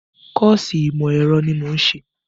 Kọ́ọ̀sì ìmọ̀ ẹ̀rọ ni mò ń ṣe